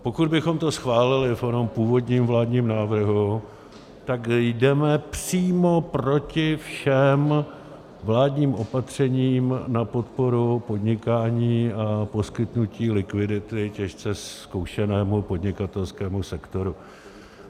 Pokud bychom to schválili v onom původním vládním návrhu, tak jdeme přímo proti všem vládním opatřením na podporu podnikání a poskytnutí likvidity těžce zkoušenému podnikatelskému sektoru.